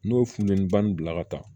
N'o ye funɛniba ni bila ka taa